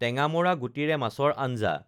টেঙামৰা গুটিৰে মাছৰ আঞ্জা